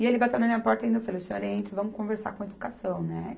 E ele bateu na minha porta ainda, eu falei, o senhor entra, vamos conversar com a educação, né?